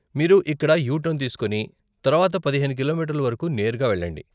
మీరు ఇక్కడ U turn తీసుకుని తర్వాత పదిహేను కిలోమీటర్లు వరకు నేరుగా వెళ్ళండి.